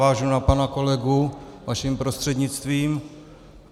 Navážu na pana kolegu vaším prostřednictvím.